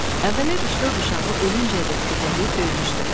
Əvvəllər üç-dörd uşağı ölüncəyədək kötəkləyib döymüşdü.